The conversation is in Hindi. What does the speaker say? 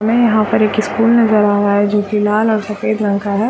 हमें यहाँ पर एक स्कूल नज़र आ रहा है जो की लाला और सफ़ेद रंग है।